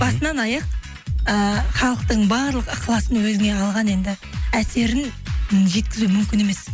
басынан аяқ ыыы халықтың барлық ықыласын өзіне алған енді әсерін м жеткізу мүмкін емес